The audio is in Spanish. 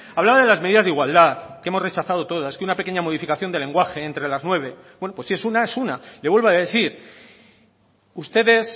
hablaba de las medidas de igualdad que hemos rechazado todas que una pequeña modificación de lenguaje entre las nueve bueno pues si es una es una le vuelvo a decir ustedes